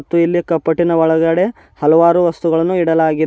ಮತ್ತು ಇಲ್ಲಿ ಕಪಟಿನ ಒಳಗಡೆ ಹಲವಾರು ವಸ್ತುಗಳನ್ನು ಇಡಲಾಗಿದೆ.